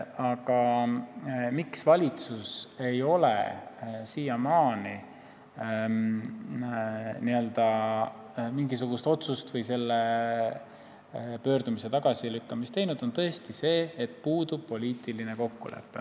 Põhjus, miks valitsus ei ole siiamaani mingisugust otsust või ka pöördumise tagasilükkamist teinud, on aga tõesti see, et puudub poliitiline kokkulepe.